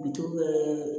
Bitɔn yɛrɛ